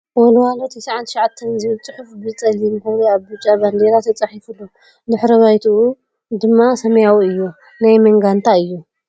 ወልዋሎ 99 ዝብል ፅሑፍ ብ ፀሊም ሕብሪ ኣብ ብጫ ባንዴራ ተፃሒፉ ኣሎ ። ድሕረ ባይትኡ ድም ሰማያዊ እዩ ። ናይ መን ጋንታ እዩ ?